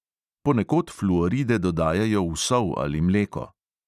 Ponekod fluoride dodajajo v sol ali mleko.